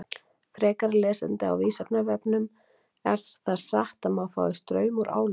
Frekara lesefni á Vísindavefnum: Er það satt að maður fái straum úr álum?